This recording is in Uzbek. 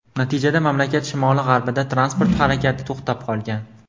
Natijada mamlakat shimoli-g‘arbida transport harakati to‘xtab qolgan.